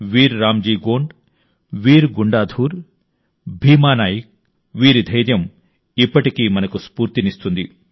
వీర్ రామ్జీ గోండ్ వీర్ గుండాధూర్ భీమా నాయక్ వీరి ధైర్యం ఇప్పటికీ మనకు స్ఫూర్తినిస్తుంది